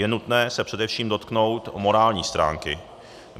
Je nutné se především dotknout morální stránky.